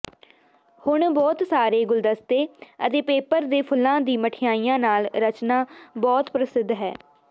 ਹੁਣ ਬਹੁਤ ਸਾਰੇ ਗੁਲਦਸਤੇ ਅਤੇ ਪੇਪਰ ਦੇ ਫੁੱਲਾਂ ਦੀ ਮਿਠਾਈਆਂ ਨਾਲ ਰਚਨਾ ਬਹੁਤ ਪ੍ਰਸਿੱਧ ਹੈ